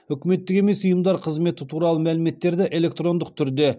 үкіметтік емес ұйымдар қызметі туралы мәліметтерді электрондық түрде